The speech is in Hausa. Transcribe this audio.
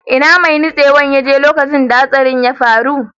Ina mai nutsewan ya je lokacin da hatsarin ya faru?